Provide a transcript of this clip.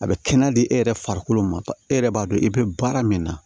A bɛ kɛnɛ di e yɛrɛ farikolo ma e yɛrɛ b'a dɔn i bɛ baara min na